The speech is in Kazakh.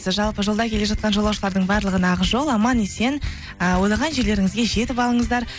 жалпы жолда келе жатқан жолаушылардың барлығына ақ жол аман есен ы ойлаған жерлеріңізге жетіп алыңыздар